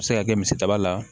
A bɛ se ka kɛ misidaba la